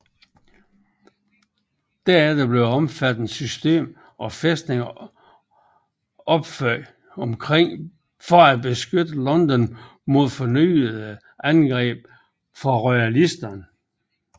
Derefter blev et omfattende system af fæstninger opført for at beskytte London mod fornyede angreb fra royalisterne